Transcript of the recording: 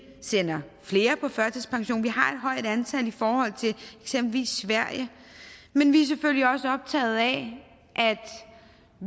sender flere på førtidspension vi har et højt antal i forhold til eksempelvis sverige men vi er selvfølgelig også optaget af at